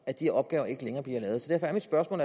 at de opgaver ikke længere bliver lavet derfor er mit spørgsmål